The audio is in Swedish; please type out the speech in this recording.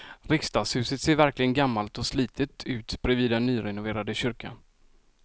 Riksdagshuset ser verkligen gammalt och slitet ut bredvid den nyrenoverade kyrkan.